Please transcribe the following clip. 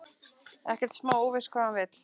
Ekkert smá óviss hvað hann vill.